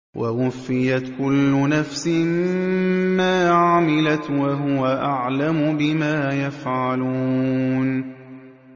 وَوُفِّيَتْ كُلُّ نَفْسٍ مَّا عَمِلَتْ وَهُوَ أَعْلَمُ بِمَا يَفْعَلُونَ